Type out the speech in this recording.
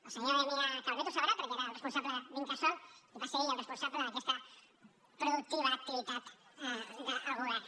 el senyor damià calvet ho sabrà perquè era el responsable d’incasòl i va ser ell el responsable d’aquesta productiva activitat del govern